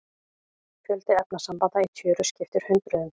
Fjöldi efnasambanda í tjöru skiptir hundruðum.